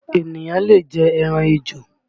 Ènìyàn lè jẹ ẹran ejò